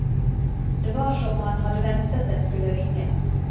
Det var som han hadde ventet den skulle ringe.